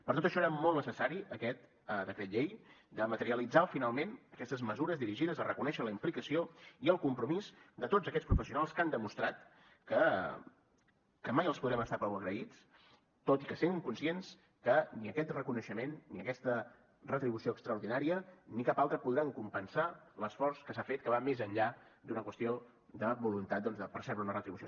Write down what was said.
per tot això era molt necessari aquest decret llei de materialitzar finalment aquestes mesures dirigides a reconèixer la implicació i el compromís de tots aquests professionals que han demostrat que mai els podrem estar prou agraïts tot i sent conscients que ni aquest reconeixement ni aquesta retribució extraordinària ni cap altra podran compensar l’esforç que s’ha fet que va més enllà d’una qüestió de voluntat doncs de percebre una retribució